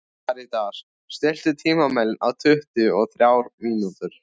Karítas, stilltu tímamælinn á tuttugu og þrjár mínútur.